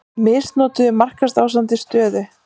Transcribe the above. Misnotuðu markaðsráðandi stöðu